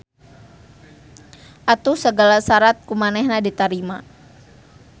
Atuh sagala sarat kumanehna di tarima.